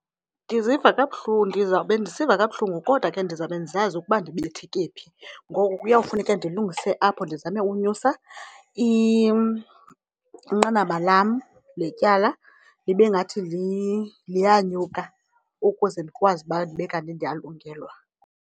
Ndiziva kabuhlungu, ndizawube ndisiva kabuhlungu kodwa ke ndizawube ndisazi ukuba ndibetheke phi. Ngoku kuyawufuneka ndilungise apho ndizame unyusa inqanaba lam letyala libe ngathi liyanyuka ukuze ndikwazi uba ndibe kanti ndiyalungelwa.